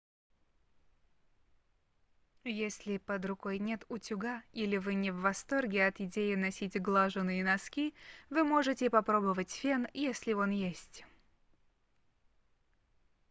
если под рукой нет утюга или вы не в восторге от идеи носить глаженые носки вы можете попробовать фен если он есть